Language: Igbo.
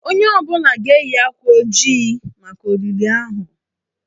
Onye ọ bụla ga-eyi akwa ojii maka olili ahụ.